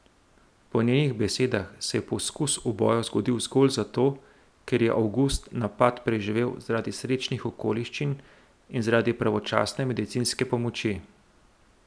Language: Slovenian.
Po njenih besedah se je poskus uboja zgodil zgolj zato, ker je Avgust napad preživel zaradi srečnih okoliščin in zaradi pravočasne medicinske pomoči.